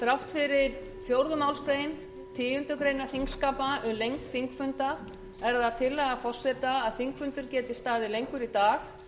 þrátt fyrir fjórðu málsgreinar tíundu greinar þingskapa um lengd þingfunda er það tillaga forseta að þingfundur geti staðið lengur í dag